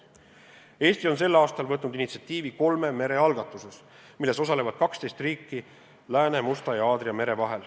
Eesti on sel aastal võtnud initsiatiivi kolme mere algatuses, milles osalevad 12 riiki Lääne-, Musta ja Aadria mere vahel.